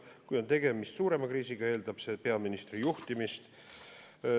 Kui on tegemist suurema kriisiga, eeldab see peaministri juhtimist.